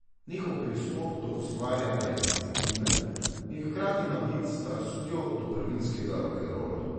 Njihov pristop do ustvarjanja je instinktiven in hkrati nabit s strastjo do prvinskega rokenrola.